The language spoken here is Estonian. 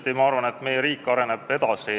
Ei, ma arvan, et meie riik areneb edasi.